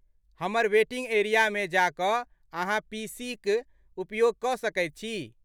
हमर वेटिंग एरियामे जा कऽ अहाँ पीसीक उपयोग कऽ सकैत छी।